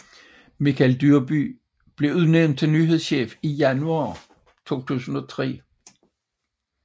Michael Dyrby blev udnævnt til nyhedschef i januar 2003